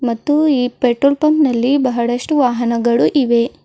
ಮತ್ತು ಈ petrol pump ನಲ್ಲಿ ಬಹಳಷ್ಟು ವಾಹನಗಳು ಇವೆ.